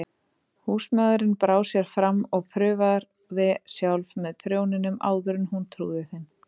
Húsmóðirin brá sér fram og prófaði sjálf með prjóninum áður en hún trúði þeim.